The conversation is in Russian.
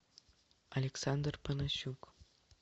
александр панасюк